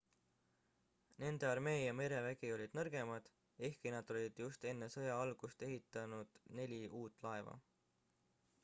nende armee ja merevägi olid nõrgemad ehkki nad olid just enne sõja algust ehitanud neli uut laeva